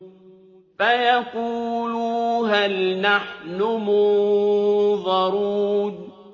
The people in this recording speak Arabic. فَيَقُولُوا هَلْ نَحْنُ مُنظَرُونَ